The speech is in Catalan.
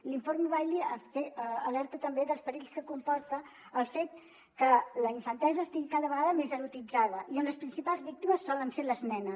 l’informe bailey alerta també dels perills que comporta el fet que la infantesa estigui cada vegada més erotitzada i on les principals víctimes solen ser les nenes